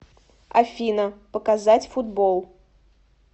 афина показать футбол